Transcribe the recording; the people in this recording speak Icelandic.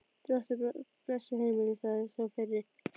Drottinn blessi heimilið, sagði sá fyrri.